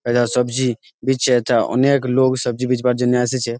এরা সবজি বিচচে তা অনেক লোক সবজি বিচবার জন্য এসেছে।